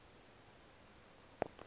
emaswakeni